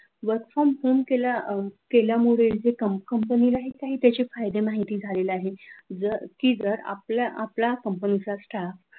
work from home केल्या केल्यामुळे कंपनीला कंपनीलाही त्याचे काही फायदे माहिती झालेले आहे जर की जर आपल्या आपल्या company चा staff